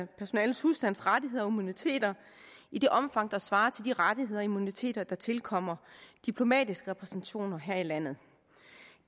personalet husstandsrettigheder og immuniteter i et omfang der svarer til de rettigheder og immuniteter der tilkommer diplomatiske repræsentationer her i landet